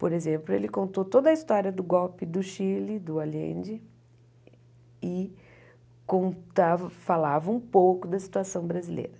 Por exemplo, ele contou toda a história do golpe do Chile, do Allende, e contava falava um pouco da situação brasileira.